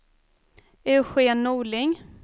Eugen Norling